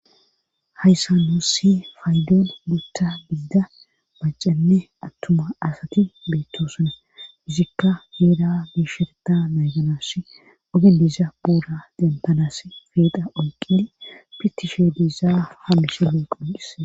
Hayssa nussi faydoon mutta biida bacanne attuma asati beettoosuna fizikka heeda biisherta nayganash ogeliza boora dentanas feeda oyqini pitishe diizaa hamishe le quuqhisse.